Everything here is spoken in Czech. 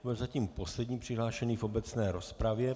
To je zatím poslední přihlášený v obecné rozpravě.